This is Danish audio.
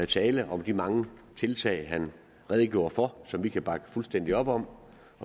tale om de mange tiltag han redegjorde for og som vi kan bakke fuldstændig op om